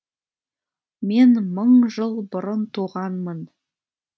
мен мың жыл бұрын туғанмын